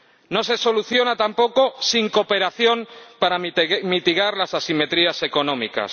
No se soluciona tampoco sin cooperación para mitigar las asimetrías económicas.